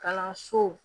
Kalanso